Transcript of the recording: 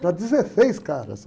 Para dezesseis caras, só!